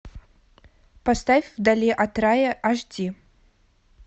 поставь вдали от рая аш ди